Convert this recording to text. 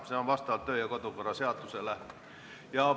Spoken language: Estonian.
See on nii kodu- ja töökorra seaduse järgi.